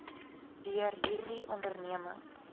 deur hierdie onderneming